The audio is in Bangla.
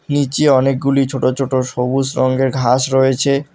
নীচে অনেকগুলি ছোট ছোট সবুজ রঙ্গের ঘাস রয়েছে।